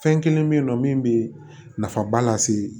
Fɛn kelen bɛ ye nɔ min bɛ nafaba lase